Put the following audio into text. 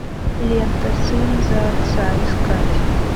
лента сын за отца искать